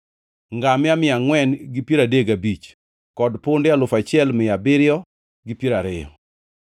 ngamia mia angʼwen gi piero adek gabich (435) kod punde alufu auchiel mia abiriyo gi piero ariyo (6,720).